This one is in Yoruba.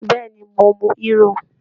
Bẹ́ẹ̀ ni, mo mu hírò